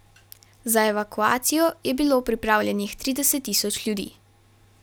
Za evakuacijo je bilo pripravljenih trideset tisoč ljudi.